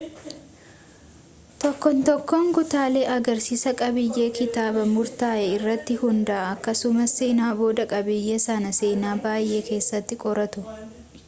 tokkoon tokkoon kutaalee agarsiisaa qabiiyyee kitaaba murtaa'ee irratti hundaa'a akkasumas sana booda qabiiyyee sana seenaa baay'ee keessatti qoratu